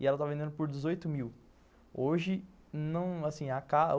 E ela estava vendendo por dezoito mil. Hoje, não, assim, a casa